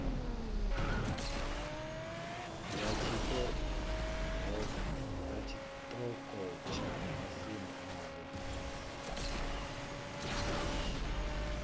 ya tshiṱoko tsha masimu avho